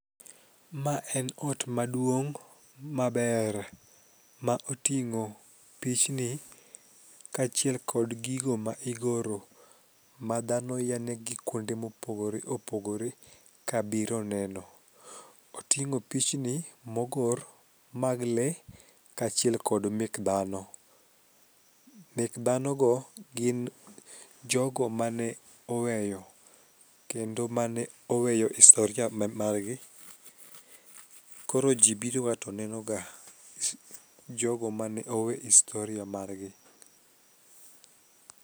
Ma en ot maduong' maber ma oting'o pichni kaachiel kod gigo ma igoro madhano yanegi kuonde mopogore opogore kabiro neno. Oting'o pichni mogor mag lee kaachiel kod mek dhano, mek dhanogo gin jogo ma ne oweyo kendo mane oweyo historia margi koro ji biroga to nenoga jogo mane oweyo historia margi.